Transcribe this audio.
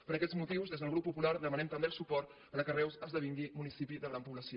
per aquests motius des del grup popular demanem també el suport perquè reus esdevingui municipi de gran població